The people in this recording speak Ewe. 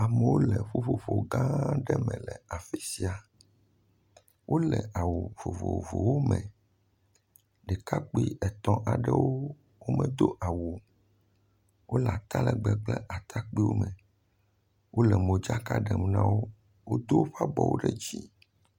Amewo le ƒuƒoƒogã aɖe me le afi sia. Wole awu vovovowome. Ɖekakpui etɔ̃ aɖewo, womedo awu o. Wole atalɛgbɛ kple atakpuiwome. Wole modzaka ɖem na wo. Wod woƒe abɔwo ɖe dzii.